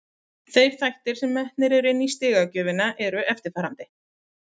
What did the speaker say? Þeir þættir sem eru metnir inni í stigagjöfina eru eftirfarandi: